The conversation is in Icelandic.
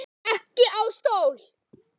Ekki á stól.